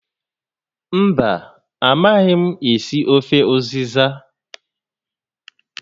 Mba, a maghị m esi ofe ụzịza